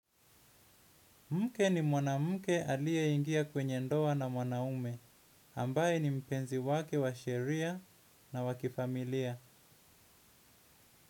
Mke ni mwana mke alie ingia kwenye ndoa na mwanaume ambaye ni mpenzi wake wa sheria na wakifamilia.